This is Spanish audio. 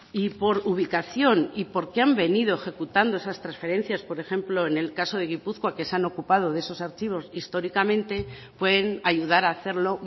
y por ubicación y porque han venido ejecutándose esas trasferencias por ejemplo en caso de gipuzkoa que se han ocupado de esos archivos históricamente pueden ayudar a hacerlo